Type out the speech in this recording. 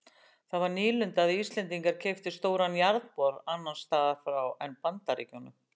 Það var nýlunda að Íslendingar keyptu stóran jarðbor annars staðar en í Bandaríkjunum.